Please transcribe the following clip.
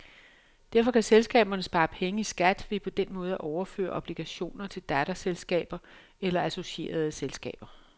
Derfor kan selskaberne spare penge i skat ved på den måde at overføre obligationer til datterselskaber eller associerede selskaber.